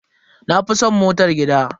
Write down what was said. Na fi san motar gida.